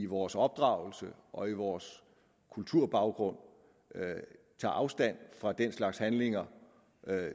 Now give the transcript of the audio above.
vores opdragelse og vores kulturbaggrund tager afstand fra den slags handlinger